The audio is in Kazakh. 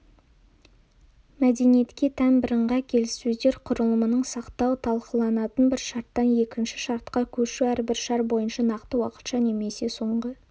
мәдениетке тән бірыңғай келіссөздер құрылымын сақтау талқыланатын бір шарттан екінші шартқа көшу әрбір шар бойынша нақты уақытша немесе соңғы